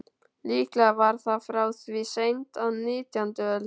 Líklega var það frá því seint á nítjándu öld.